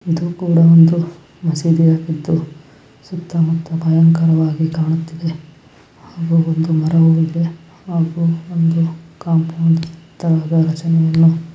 ಇದು ಕೂಡ ಒಂದು ಮಸೀದಿ ಆಗಿದ್ದು ಸುತ್ತ ಮುತ್ತ ಅಲಂಕಾರ ವಾಗಿ ಕಾಣುತ್ತಿದೆ. ಮರ ಒಂದು ಹಾಗು